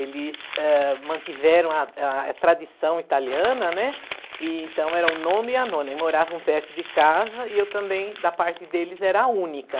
Eles, eh, mantiveram a a tradição italiana, né, então eram o nono e a nona, e moravam perto de casa, e eu também, da parte deles, era a única.